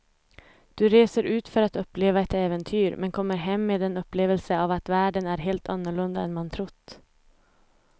Du reser ut för att uppleva ett äventyr men kommer hem med en upplevelse av att världen är helt annorlunda än man trott.